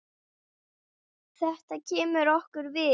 Þetta kemur okkur við.